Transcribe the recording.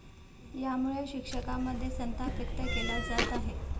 यामुळे या शिक्षकांमध्ये संताप व्यक्त केला जात आहे.